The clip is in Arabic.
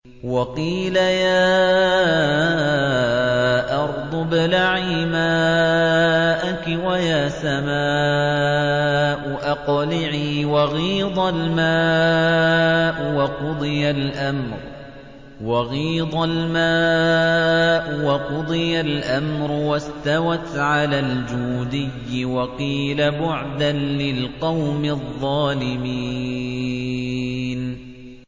وَقِيلَ يَا أَرْضُ ابْلَعِي مَاءَكِ وَيَا سَمَاءُ أَقْلِعِي وَغِيضَ الْمَاءُ وَقُضِيَ الْأَمْرُ وَاسْتَوَتْ عَلَى الْجُودِيِّ ۖ وَقِيلَ بُعْدًا لِّلْقَوْمِ الظَّالِمِينَ